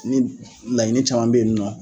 Ni laɲini caman bɛ yen nɔ.